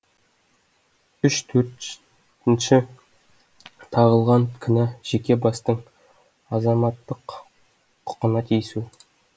үш төртінші тағылған кінә жеке бастың азаматтық құқына тиісу